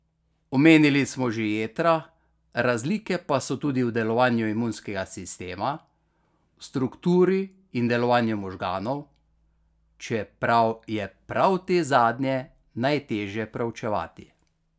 Omenili smo že jetra, razlike pa so tudi v delovanju imunskega sistema, v strukturi in delovanju možganov, čeprav je prav te zadnje najtežje preučevati.